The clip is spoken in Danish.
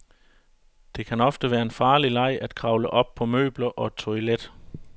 Det kan ofte være en farlig leg at kravle op på møbler og toilet.